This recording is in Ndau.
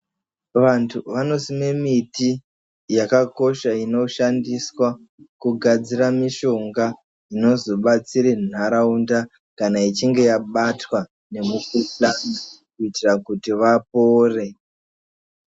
Vantu vanosime miti yakakosha inoshandiswa kugadzira mishonga inozobatsire nharaunda kana ichinge yabatwa ngemukhuhlana kuitira kuti vapore.